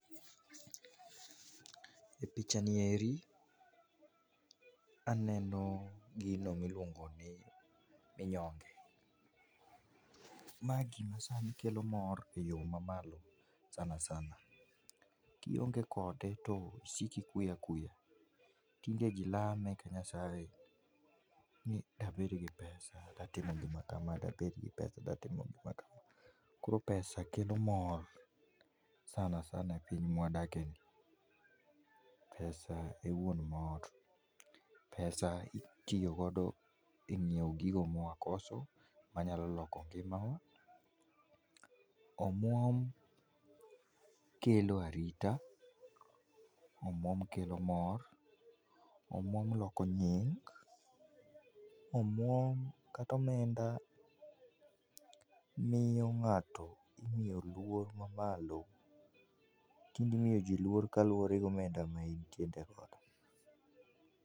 e picha ni eri aneno gino miluongo ni minyonge ma gima sani kero mor e yo mamalo sanasana kionge kode tisiko ikuyo akuya. Tinde jii lame ka nyasaye ni dabed gi pesa datimo gima chalo kama .Koro pesa kelo mor sanasana e piny mwadake ni pesa e wuon mor pesa itiyo godo e nyiewo gigo mwakoso manyalo loko ngimawa. Omwom kelo arita, omwom kelo mor, omwom loko nying ,omwom kata omenda miyo ngato imiyo luor mamalo tinde imiyo jii luor kaluwore gi omenda ma intiere godo.